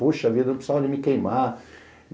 Poxa vida, eu precisava de me queimar.